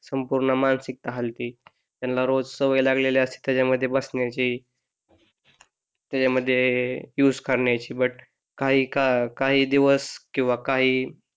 संपूर्ण मानसिकता हलते. त्यांना रोज सवय लागेल असते त्याच्या मध्ये बसण्याची त्याच्या मध्ये यूज करण्याची बट काही दिवस किंवा काही,